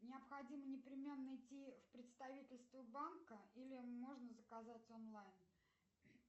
необходимо непременно идти в представительство банка или можно заказать онлайн